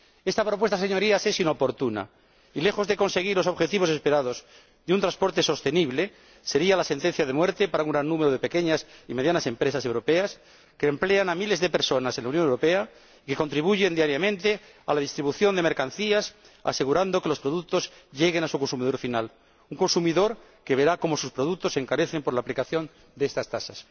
Esta propuesta, Señorías, es inoportuna, y, lejos de conseguir los objetivos esperados de un transporte sostenible, sería la sentencia de muerte para un gran número de pequeñas y medianas empresas europeas que emplean a miles de personas en la Unión Europea y contribuyen diariamente a la distribución de mercancías, asegurando que los productos lleguen a su consumidor final, un consumidor que verá cómo sus productos se encarecen por la aplicación de estas tasas.